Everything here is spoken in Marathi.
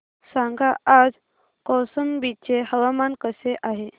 सांगा आज कौशंबी चे हवामान कसे आहे